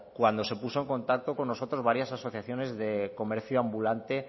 cuando se puso en contacto con nosotros varias asociaciones de comercio ambulante